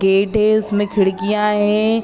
Gate है उसमें खिड़कियाँ है ।